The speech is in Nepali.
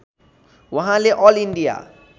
उहाँले अल इन्डिया